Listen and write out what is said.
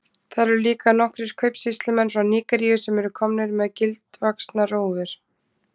Þar eru líka nokkrir kaupsýslumenn frá Nígeríu sem eru komnir með gildvaxnar rófur.